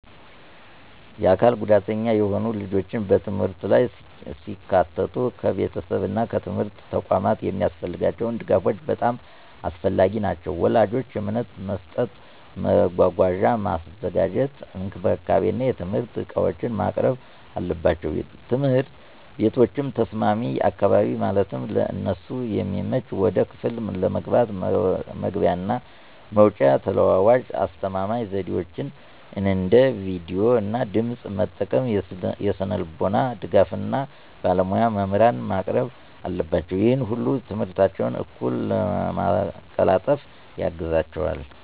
የአካል ጉዳተኛ የሆኑ ልጆች በትምህርት ላይ ሲካተቱ ከቤተሰብ እና ከትምህርት ተቋማት የሚያስፈልጋቸው ድጋፎች በጣም አስፈላጊ ናቸው። ወላጆች እምነት መስጠት፣ መጓጓዣ ማዘጋጀት፣ እንክብካቤ እና የትምህርት ዕቃዎችን ማቅረብ አለባቸው። ትምህርት ቤቶችም ተስማሚ አካባቢ ማለትም ለእነሱ የሚመች ወደ ክፍል ለመግባት መግቢያ እና መውጫ፣ ተለዋዋጭ የአስተማማኝ ዘዴዎች አንደ ቪዲዮ እና ድምጽ መጠቀም፣ የስነልቦና ድጋፍ እና ባለሞያ መምህራንን ማቅረብ አለባቸው። ይህ ሁሉ ትምህርታቸውን እኩል ለማቀላጠፍ ያግዛቸዋል።